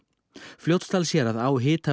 Fljótsdalshérað á Hitaveitu